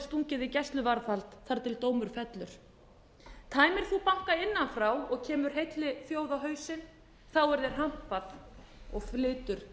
stungið í gæsluvarðhald þar til dómur fellur tæmir þú banka innan frá og kemur heilli þjóð á hausinn þá er þér hampað og flytur